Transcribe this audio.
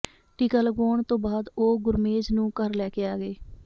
ਟੀਕਾ ਲਗਵਾਉਣ ਤੋਂ ਬਾਅਦ ਉਹ ਗੁਰਮੇਜ ਨੂੰ ਘਰ ਲੈ ਕੇ ਆ ਗਏ